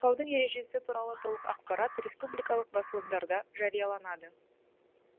байқаудың ережесі туралы толық ақпарат республикалық басылымдарда жарияланады